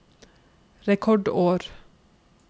rekordår